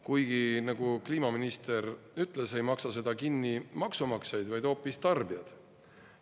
Kuigi nagu kliimaminister ütles, ei maksa seda kinni maksumaksjad, vaid hoopis tarbijad.